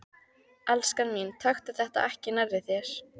Elskan mín, taktu þetta ekki nærri þér.